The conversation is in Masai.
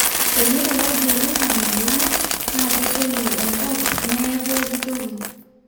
teneirowuaju oloingange lang naa ketoyu enkop neye pooki toki